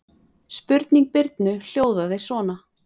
Spurning Birnu hljóðaði svona: